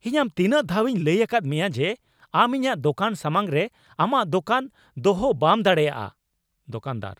ᱤᱧ ᱟᱢ ᱛᱤᱱᱟᱹᱜ ᱫᱷᱟᱣᱤᱧ ᱞᱟᱹᱭ ᱟᱠᱟᱫ ᱢᱮᱭᱟ ᱡᱮ ᱟᱢ ᱤᱧᱟᱹᱜ ᱫᱚᱠᱟᱱ ᱥᱟᱢᱟᱝ ᱨᱮ ᱟᱢᱟᱜ ᱫᱚᱠᱟᱱ ᱫᱚᱦᱚ ᱵᱟᱢ ᱫᱟᱲᱮᱭᱟᱜᱼᱟ ? (ᱫᱚᱠᱟᱱᱫᱟᱨ)